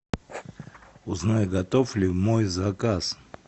узнай готов ли мой заказ